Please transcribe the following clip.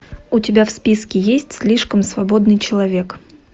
у тебя в списке есть слишком свободный человек